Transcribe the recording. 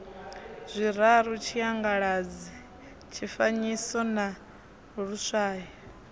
zwiraru tshiangaladzi tshifanyiso na luswayo